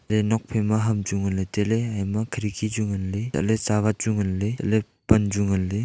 ae nokphaima ham chu nganley tailey ayena khidki chu nganley chatley chawat chu nganley chatley pan chu nganley.